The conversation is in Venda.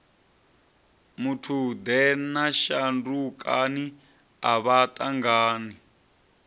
muthude na shandukani avha vhathannga